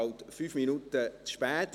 Jetzt sind wir 5 Minuten zu spät.